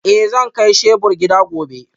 Eh zan kai shebur gida gobe